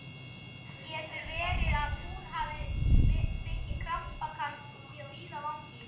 Getur verið að hún hafi fengið krampakast úti á víðavangi?